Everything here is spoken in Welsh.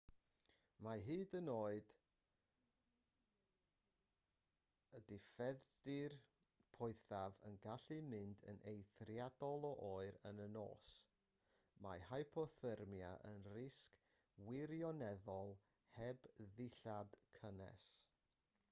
mae hyd yn oed y diffeithdir poethaf yn gallu mynd yn eithriadol o oer yn y nos mae hypothermia yn risg wirioneddol heb ddillad cynnes